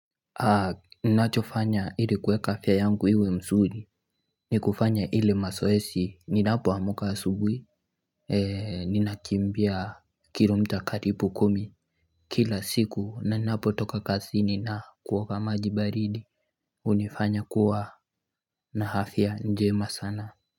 Ninachofanya ili kuweka afya yangu iwe msuri ni kufanya ile masoesi ninapoamka asubwi Ninakiimbia kilomita karipu kumi Kila siku na ninapotoka kazini na kuoga maji baridi unifanya kuwa na hafya njema sana.